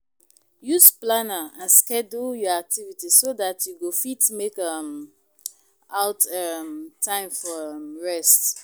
Use planner and schedule your activities so dat you go fit make um out um time for um rest